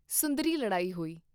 ਸੁੰਦਰੀ ਲੜਾਈ ਹੋਈ।